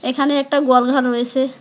এখানে একটা গোয়াল ঘর রয়েসে।